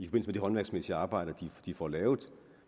med de håndværksmæssige arbejder de får lavet